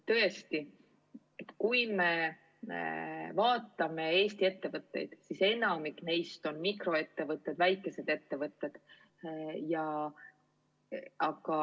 Tõesti, kui me vaatame Eesti ettevõtteid, siis enamik neist on mikroettevõtted, väikesed ettevõtted.